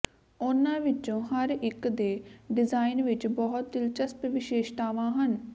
ਉਨ੍ਹਾਂ ਵਿਚੋਂ ਹਰ ਇਕ ਦੇ ਡਿਜ਼ਾਇਨ ਵਿਚ ਬਹੁਤ ਦਿਲਚਸਪ ਵਿਸ਼ੇਸ਼ਤਾਵਾਂ ਹਨ